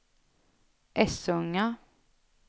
Essunga